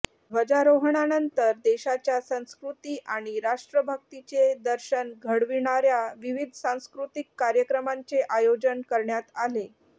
ध्वजारोहणानंतर देशाच्या संस्कृती आणि राष्ट्रभक्तीचे दर्शन घडविणाऱ्या विविध सांस्कृतिक कार्यक्रमांचे आयोजन करण्यात आले